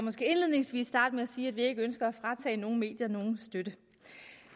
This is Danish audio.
måske indledningsvis starte med at sige at vi ikke ønsker at fratage nogen medier nogen støtte